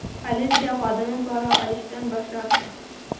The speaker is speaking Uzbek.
Politsiya xodimi pora olishdan bosh tortgan.